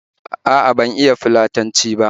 A'a, ban iya Fulatanci ba